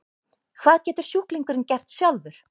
Hvað getur sjúklingurinn gert sjálfur?